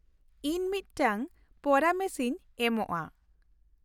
ᱤᱧ ᱢᱤᱫᱴᱟᱝ ᱯᱚᱨᱟᱢᱮᱥ ᱤᱧ ᱮᱢᱚᱜᱼᱟ ᱾